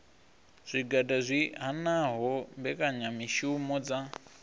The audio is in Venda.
zwigwada zwi hanaho mbekanyamishumo dza